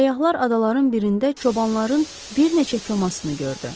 Səyyahlar adaların birində çobanların bir neçə komasını gördü.